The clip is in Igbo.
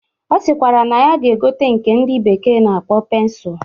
Ọ sịkwara na ya ga-egote nke ndị bekee na-akpọ pensụl